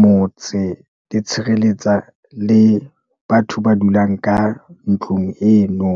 motse, di tshireletsa le batho ba dulang ka ntlong eno.